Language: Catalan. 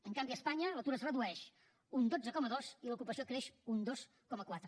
en canvi a espanya l’atur es redueix un dotze coma dos i l’ocupació creix un dos coma quatre